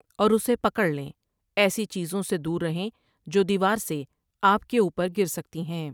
اور اسے پکڑ لیں ایسی چیزوں سے دور رہیں جو دیوار سے آپ کے اوپرگر سکتی ہیں ۔